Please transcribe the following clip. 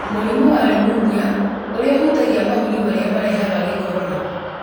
Mũrimũ wa rĩmũnia ũrĩa ũhutagia mahũri marĩa marehaga gĩkorora,